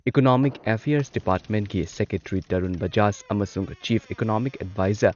economic affairs ꯗꯤꯄꯥꯔꯠꯃꯦꯟꯠꯀꯤ secretary Tarun Bajaj ꯑꯃꯁꯨꯡ chief economic adviser